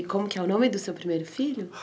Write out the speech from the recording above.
E como que é o nome do seu primeiro filho?